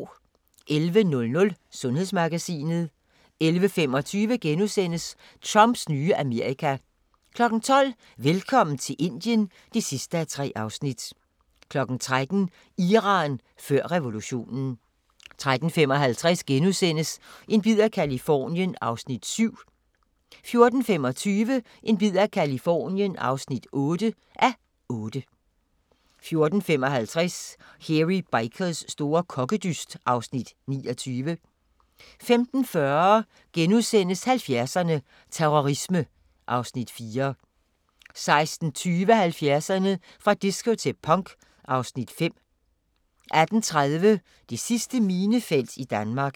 11:00: Sundhedsmagasinet 11:25: Trumps nye Amerika * 12:00: Velkommen til Indien (3:3) 13:00: Iran før revolutionen 13:55: En bid af Californien (7:8)* 14:25: En bid af Californien (8:8) 14:55: Hairy Bikers store kokkedyst (Afs. 29) 15:40: 70'erne: Terrorisme (Afs. 4)* 16:20: 70'erne: Fra disco til punk (Afs. 5) 18:30: Det sidste minefelt i Danmark